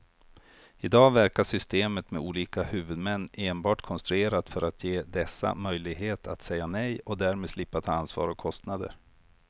I dag verkar systemet med olika huvudmän enbart konstruerat för att ge dessa möjlighet att säga nej och därmed slippa ta ansvar och kostnader.